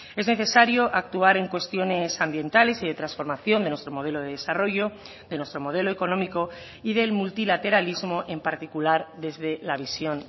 es necesario actuar en cuestiones ambientales y de transformación de nuestro modelo de desarrollo de nuestro modelo económico y del multilateralismo en particular desde la visión